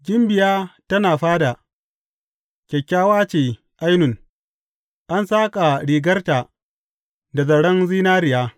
Gimbiya tana fada, kyakkyawa ce ainun; an saƙa rigarta da zaren zinariya.